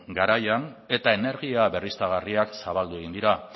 garaian eta energia berriztagarriak zabaldu egin dira